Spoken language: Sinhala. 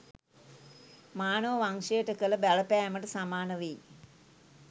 මානව වංශයට කළ බලපෑමට සමාන වෙයි.